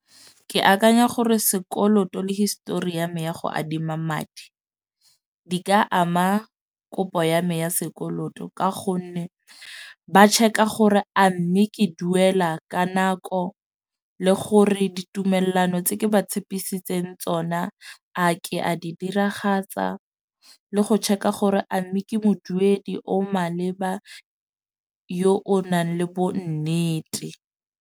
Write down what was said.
Ke akanya gore sekoloto le history ya me ya go adima madi di ka ama kopo ya me ya sekoloto. Ka gonne ba check-a gore a mme ke duela ka nako le gore ditumellano tse ke ba tshepisitseng tsona a ke a di diragatsa, le go check-a gore a mme ke moduedi o maleba yo o nang le bonnete.